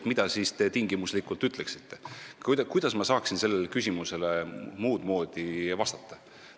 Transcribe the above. ja "Mida siis te tingimuslikult ütleksite?" muud moodi vastata?